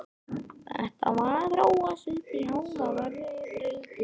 Þetta var að þróast uppí hávaðarifrildi.